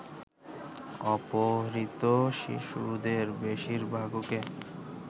অপহৃত শিশুদের বেশিরভাগকে